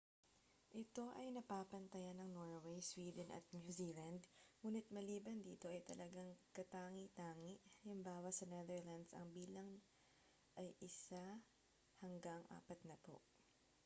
ito ay napapantayan ng norway sweden at new zealand ngunit maliban dito ay talagang katangi-tangi hal. sa netherlands ang bilang ay isa hanggang apatnapu